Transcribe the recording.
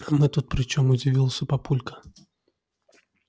а мы тут при чем удивился папулька